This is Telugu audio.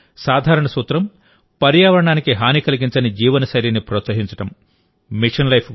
మిషన్ లైఫ్ సాధారణ సూత్రం పర్యావరణానికి హాని కలిగించని జీవనశైలినిప్రోత్సహించడం